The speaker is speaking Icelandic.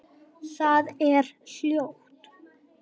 Það er hljótt.